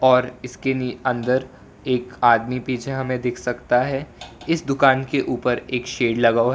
और इसके नि अंदर एक आदमी पीछे हमें दिख सकता है इस दुकान के ऊपर एक शेड लगा हुआ है।